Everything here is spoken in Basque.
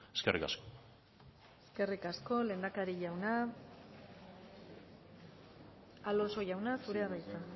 eskerrik asko eskerrik asko lehendakari jauna alonso jauna zurea da hitza